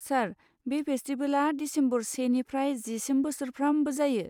सार, बे फेस्टिबेला दिसेम्बर सेनिफ्राय जिसिम बोसोरफ्रामबो जायो।